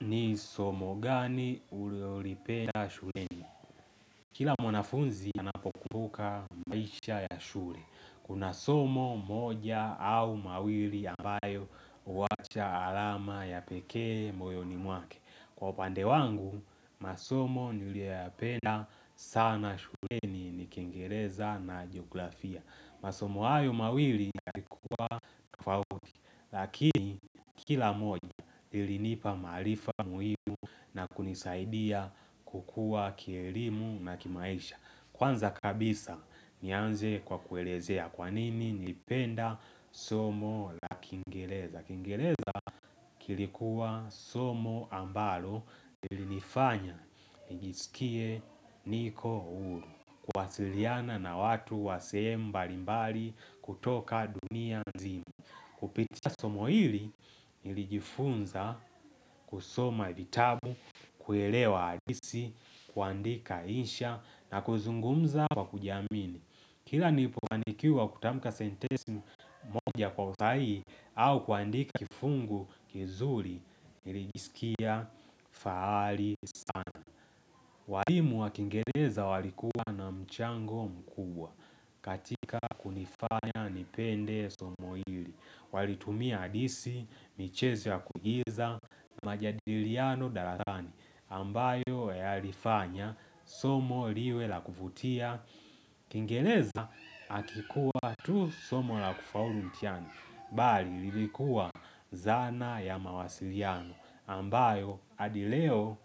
Ni somo gani ulilolipenda shuleni? Kila mwanafunzi anapokumbuka maisha ya shule. Kuna somo moja au mawili ambayo huacha alama ya pekee moyoni mwake. Kwa upande wangu, masomo niliyoyapenda sana shuleni ni kiingereza na jografia. Masomo hayo mawili yalikuwa tofauti. Lakini kila moja ilinipa maarifa muhimu na kunisaidia kukua kielimu na kimaisha Kwanza kabisa nianze kwa kuelezea kwanini nilipenda somo la kiingereza, kiingereza kilikuwa somo ambalo ilinifanya nijisikie niko huru kuwasiliana na watu wa sehemu mbalimbali kutoka dunia nzima Kupitia somo hili nilijifunza kusoma vitabu, kuelewa hadisi, kuandika insha na kuzungumza kwa kujiamini. Kila nilipoandikiwa kutamka sentesi moja kwa usahihi au kuandika kifungu kizuri nilijisikia fahari sana. Walimu wa kingereza walikuwa na mchango mkubwa katika kunifanya nipende somo hili. Walitumia adisi, michezo ya kuigiza na majadiliano darasani ambayo yalifanya somo liwe la kuvutia. Kiingereza hakikuwa tu somo la kufaulu mtihani. Bali ilikuwa zana ya mawasiliano ambayo hadi leo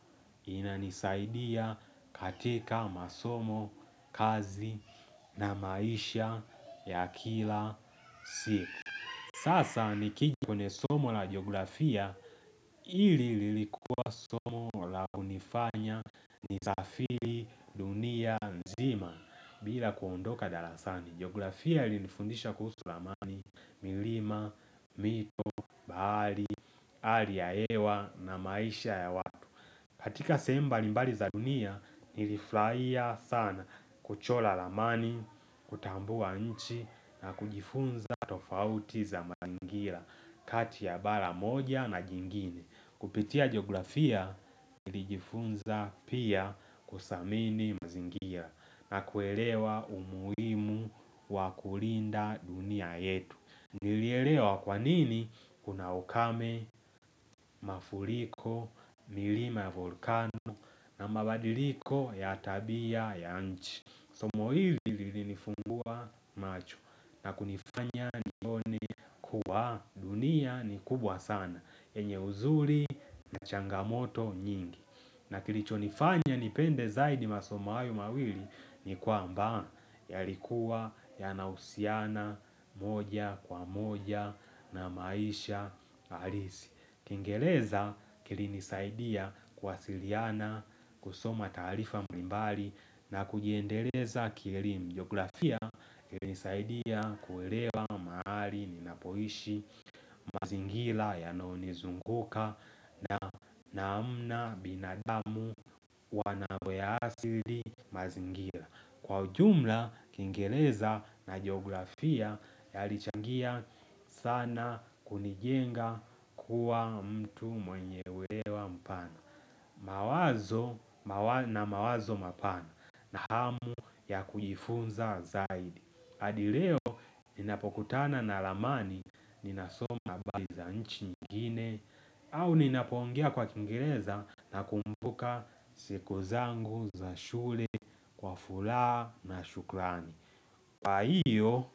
inanisaidia katika masomo, kazi na maisha ya kila siku. Sasa nikijikone somo la geografia ili lilikua somo la unifanya ni safiri dunia nzima bila kuondoka darasani. Geografia ilinifundisha kuhusu ramani, milima, mito, hali ya hewa na maisha ya watu. Katika sehemu mbali mbali za dunia nilifurahia sana kuchora ramani, kutambua nchi na kujifunza tofauti za mazingira kati ya bara moja na jingine. Kupitia geografia nilijifunza pia kuthamini mazingira na kuelewa umuhimu wa kulinda dunia yetu. Nilielewa kwa nini kuna ukame, mafuriko, milima ya volkano na mabadiliko ya tabia ya nchi. Somo hili lilinifungua macho na kunifanya nione kuwa dunia ni kubwa sana enye uzuri na changamoto nyingi na kilichonifanya nipende zaidi masomo hayo mawili ni kwamba yalikuwa yanahusiana moja kwa moja na maisha halisi kiingereza kilinisaidia kuwasiliana, kusoma taarifa mbalimbali na kujiendeleza kielimu. Geografia kilinisaidia kuelewa mahali ninapoishi mazingira yanayonizunguka na hamna binadamu na mambo ya asili mazingira Kwa ujumla, kiingereza na geografia yalichangia sana kunijenga kuwa mtu mwenye wewa mpana. Mawazo na mawazo mapana na hamu ya kujifunza zaidi. Hadi leo, ninapokutana na ramani, ninasoma habari za nchi nyingine, au ninapoongea kwa kiingereza nakumbuka siku zangu za shule kwa furaha na shukrani. Kwa hiyo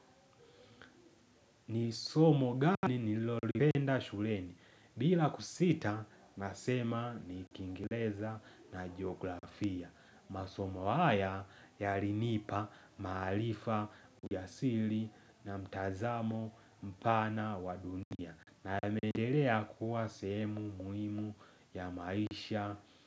ni somo gani nililolipenda shuleni. Bila kusita nasema ni kiingereza na geografia. Masomo haya yalinipa maarifa uyasili na mtazamo mpana wa dunia. Na yameendelea kuwa semu muhimu ya maisha.